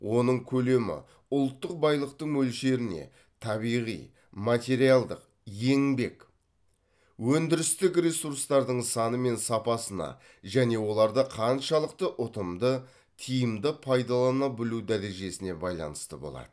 оның көлемі ұлттық байлықтың мөлшеріне табиғи материалдық еңбек өндірістік ресурстардың саны мен сапасына және оларды қаншалықты ұтымды тиімді пайдалана білу дәрежесіне байланысты болады